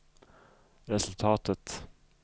resultatet